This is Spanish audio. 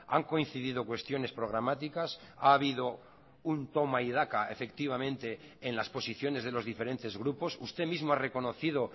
han coincidido cuestiones programáticas ha habido un toma y daca efectivamente en las posiciones de los diferentes grupos usted mismo ha reconocido